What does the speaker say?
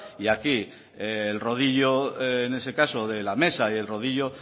y aquí el rodillo en ese caso de la mesa y el rodillo